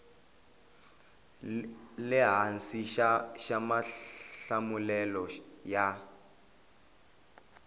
le hansi xa mahlamulelo ya